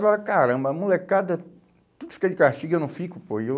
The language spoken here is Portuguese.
Eu falava, caramba, molecada, tu que fica de castigo, eu não fico. E eu